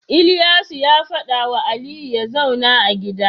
Ilyasu ya fada wa Ali yazauna a gida